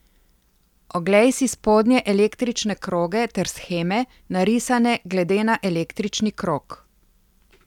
Oglej si spodnje električne kroge ter sheme, narisane glede na električni krog.